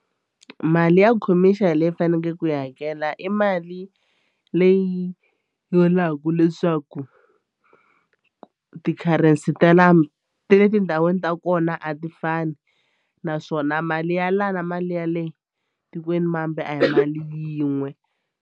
Mali ya khomixini leyi fanekeleke ku yi hakela i mali leyi vulaka leswaku ti-currency ta ta le tindhawini ta kona a ti fani naswona mali ya la na mali ya le tikwenimambe a hi mali yin'we.